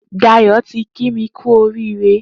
Dayo ti kí mi kù óriré